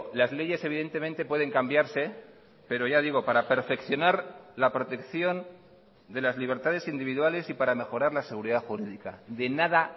las leyes evidentemente pueden cambiarse pero ya digo para perfeccionar la protección de las libertades individuales y para mejorar la seguridad jurídica de nada